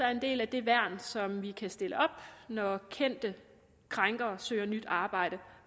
er en del af det værn som vi kan stille op når kendte krænkere søger nyt arbejde